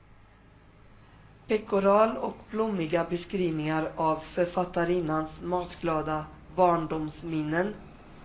Pekoral och blommiga beskrivningar av författarinnans matglada barndomsminnen.